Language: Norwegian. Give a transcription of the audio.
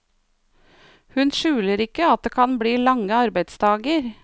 Hun skjuler ikke at det kan bli lange arbeidsdager.